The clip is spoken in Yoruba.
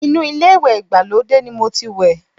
Inú ilé ìwẹ̀ ìgbàlódé ni mo ti wẹ̀